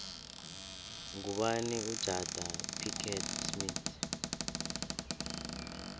ngubani ujada pickett smith